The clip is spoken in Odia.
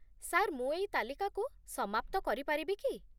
ସାର୍, ମୁଁ ଏଇ ତାଲିକାକୁ ସମାପ୍ତ କରିପାରିବି କି?